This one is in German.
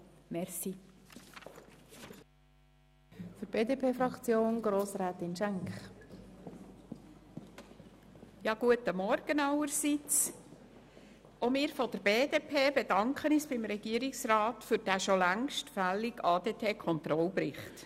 Auch die BDP-Fraktion bedankt sich beim Regierungsrat für diesen schon längst fälligen ADT-Controlling-Bericht.